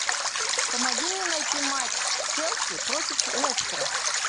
помоги мне найти матч челси против лестера